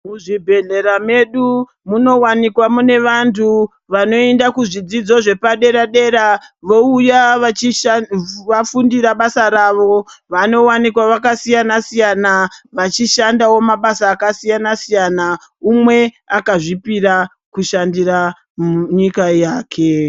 Muzvibhedhlera medu munowanikwa mune vantu vanoenda kuzvidzidzo zvepadera dera vouya vafundira basa rawo vanowanikwa vakasiyana siyana vachishandawo mabasa akasiyana siyana umwe akazvipira kushandira nyika yake.